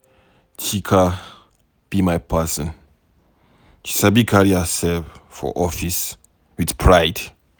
Chika be my person, she sabi carry herself for office with pride.